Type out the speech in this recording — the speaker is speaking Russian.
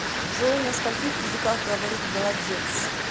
джой на скольких языках говорит голодец